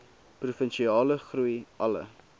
provinsiale groei alle